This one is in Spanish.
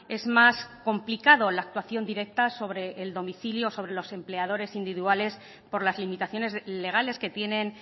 es más complicado la actuación directa sobre el domicilio sobre los empleadores individuales por las limitaciones legales que tienen